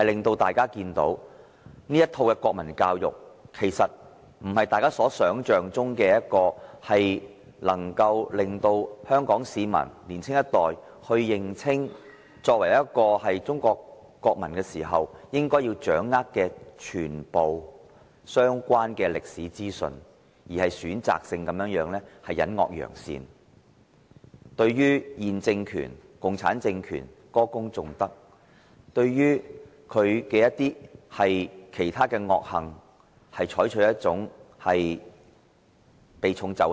大家看到這套國民教育並非大家想象般要令香港市民、年青一代，認清作為中國國民應要掌握的全部相關歷史資訊，而是選擇性地隱惡揚善，對現政權共產政權歌功頌德，對其他惡行則避重就輕。